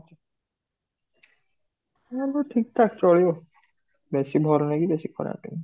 ହେଲେ ଭି ଠିକ ଠକ ଚଳିବ, ବେଶୀ ଭଲ ନାହିଁ କି ବେଶୀ ଖରାପ ନାହିଁ